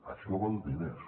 això val diners